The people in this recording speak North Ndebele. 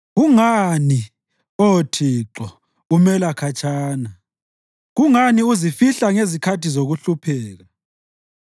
Kungani, Oh Thixo, umela khatshana? Kungani uzifihla ngezikhathi zokuhlupheka?